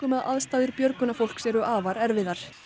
að aðstæður björgunarfólks eru afar erfiðar